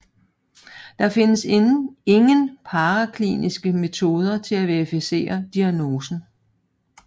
Der findes inden parakliniske metoder til at verificere daignosen